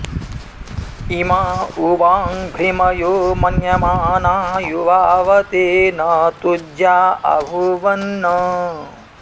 इ॒मा उ॑ वां भृ॒मयो॒ मन्य॑माना यु॒वाव॑ते॒ न तुज्या॑ अभूवन्